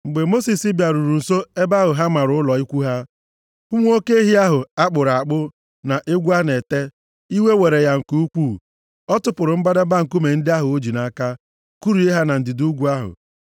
Mgbe Mosis bịaruru nso ebe ahụ ha mara ụlọ ikwu ha, hụ nwa oke ehi ahụ a kpụrụ akpụ na egwu a na-ete, iwe were ya nke ukwuu. Ọ tụpụrụ mbadamba nkume ndị ahụ o ji nʼaka. Kụrie ha na ndịda ugwu ahụ.